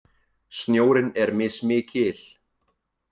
Snjórinn er mismikil